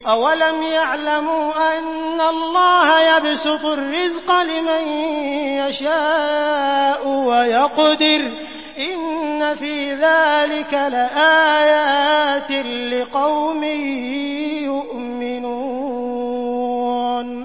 أَوَلَمْ يَعْلَمُوا أَنَّ اللَّهَ يَبْسُطُ الرِّزْقَ لِمَن يَشَاءُ وَيَقْدِرُ ۚ إِنَّ فِي ذَٰلِكَ لَآيَاتٍ لِّقَوْمٍ يُؤْمِنُونَ